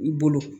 I bolo